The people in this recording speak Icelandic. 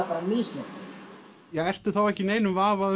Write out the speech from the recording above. bara misnotkun ertu þá ekki í neinum vafa